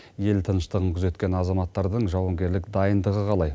ел тыныштығын күзеткен азаматтардың жауынгерлік дайындығы қалай